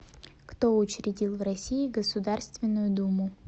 кто учредил в россии государственную думу